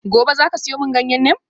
Gobe ​​zaka siyo mani ganyen neem?